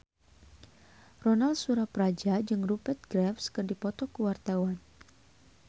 Ronal Surapradja jeung Rupert Graves keur dipoto ku wartawan